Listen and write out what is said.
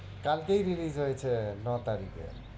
কালকেই release হয়েছে নয় তারিখে